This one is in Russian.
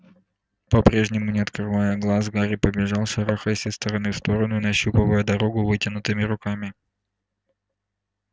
по-прежнему не открывая глаз гарри побежал шарахаясь из стороны в сторону и нащупывая дорогу вытянутыми руками